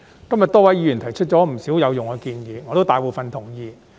今天多位議員提出不少有用建議，大部分我也是同意的。